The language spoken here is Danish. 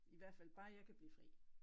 I hvert fald bare jeg kan blive fri